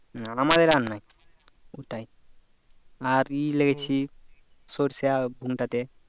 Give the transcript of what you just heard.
উম আমাদের আর নাই ওটাই আর ই লাগিয়েছি সরিষার ভুঙ টা তে